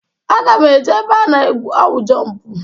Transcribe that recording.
Aga m eje ebe a na-awụ jọmp.